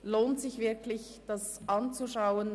es lohnt sich, diese zu hören und anzuschauen.